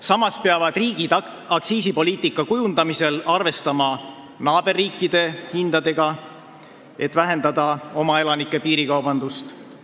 Samas peavad riigid aktsiisipoliitika kujundamisel arvestama naaberriikide hindadega, et vähendada oma elanike piirikaubandust.